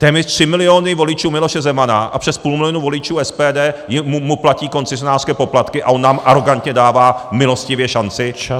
Téměř tři miliony voličů Miloše Zemana a přes půl milionu voličů SPD mu platí koncesionářské poplatky, a on nám arogantně dává milostivě šanci?!